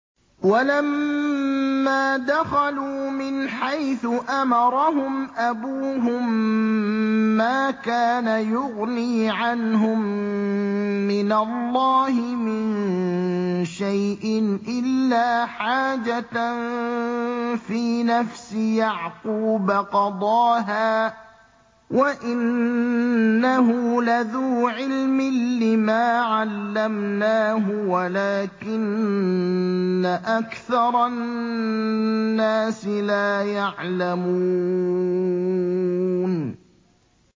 وَلَمَّا دَخَلُوا مِنْ حَيْثُ أَمَرَهُمْ أَبُوهُم مَّا كَانَ يُغْنِي عَنْهُم مِّنَ اللَّهِ مِن شَيْءٍ إِلَّا حَاجَةً فِي نَفْسِ يَعْقُوبَ قَضَاهَا ۚ وَإِنَّهُ لَذُو عِلْمٍ لِّمَا عَلَّمْنَاهُ وَلَٰكِنَّ أَكْثَرَ النَّاسِ لَا يَعْلَمُونَ